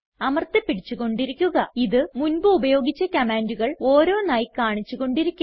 അമർത്തി പിടിച്ചു കൊണ്ടിരിക്കുക ഇത് മുൻപ് ഉപയോഗിച്ച കമാൻഡുകൾ ഓരോന്നായി കാണിച്ചു കൊണ്ടിരിക്കും